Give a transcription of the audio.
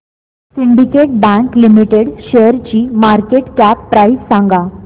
Syndicate Bank Limited शेअरची market cap price सांगा